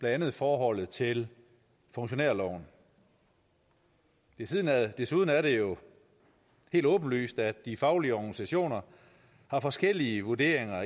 andet forholdet til funktionærloven desuden er desuden er det jo helt åbenlyst at de faglige organisationer har forskellige vurderinger af